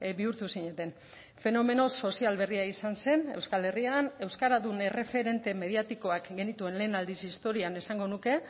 bihurtu zineten fenomeno sozial berria izan zen euskal herrian euskaradun erreferente mediatikoak genituen lehen aldiz historian esango nuke